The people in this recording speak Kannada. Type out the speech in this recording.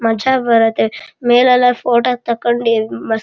ಮಜಾ ಬರುತ್ತೆ ಮೆಲ್ ಎಲ್ಲ ಫೋಟೋ ತಕಂಡಿ ಮಸ್ತ್-